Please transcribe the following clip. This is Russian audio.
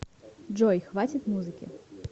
джой хватит музыки